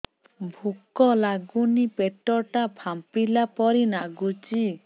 ଭୁକ ଲାଗୁନି ପେଟ ଟା ଫାମ୍ପିଲା ପରି ନାଗୁଚି